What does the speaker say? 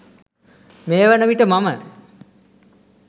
මේ වන විට මම